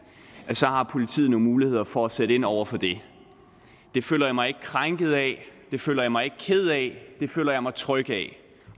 har politiet nogle muligheder for at sætte ind over for det det føler jeg mig ikke krænket af det føler jeg mig ikke ked af det føler jeg mig tryg ved